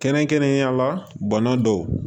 Kɛrɛnkɛrɛnnenya la bana dɔw